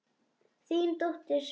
Þín dóttir Sunna.